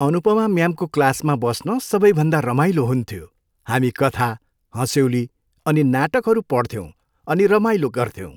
अनुपमा म्यामको क्लासमा बस्न सबैभन्दा रमाइलो हुन्थ्यो। हामी कथा, हँस्यौली अनि नाटकहरू पढ्थ्यौँ अनि रमाइलो गऱ्थ्यौँ।